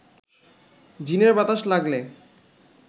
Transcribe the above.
জিনের বাতাস লাগলে